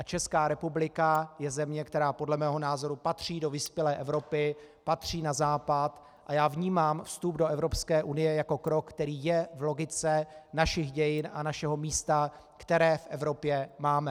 A Česká republika je země, která podle mého názoru patří do vyspělé Evropy, patří na Západ, a já vnímám vstup do Evropské unie jako krok, který je v logice našich dějin a našeho místa, které v Evropě máme.